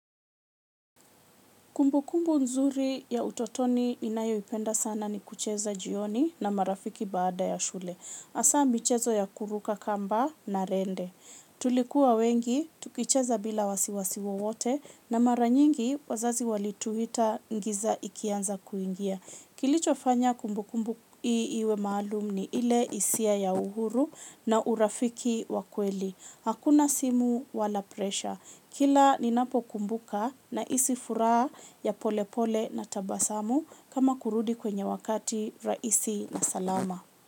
Kumbukumbu nzuri ya utotoni ninayoipenda sana ni kucheza jioni na marafiki baada ya shule. Hasa michezo ya kuruka kamba na rende. Tulikuwa wengi, tukicheza bila wasiwasi wowote na mara nyingi wazazi walituita giza ikianza kuingia. Kilichofanya kumbukumbu hii iwe maluum ile hisia ya uhuru na urafiki wa kweli. Hakuna simu wala presha. Kila ninapokumbuka nahisi furaha ya polepole na tabasamu kama kurudi kwenye wakati rahisi na salama.